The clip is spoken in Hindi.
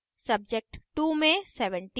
subject 2 में 70